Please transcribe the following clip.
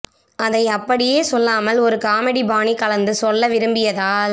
அதை அப்படியே சொல்லாமல் ஒரு காமெடி பாணி கலந்து சொல்ல விரும்பியதால்